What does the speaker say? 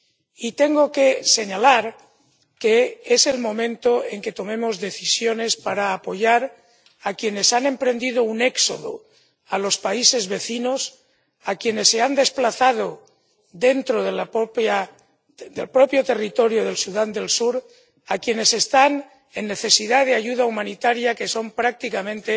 Y tengo que señalar que es el momento de que tomemos decisiones para apoyar a quienes han emprendido un éxodo a los países vecinos, a quienes se han desplazado dentro del propio territorio de Sudán del Sur, a quienes están en necesidad de ayuda humanitaria, que es prácticamente